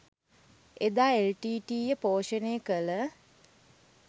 එදා එල්.ටී.ටී.ඊ. ය පෝෂණය කළ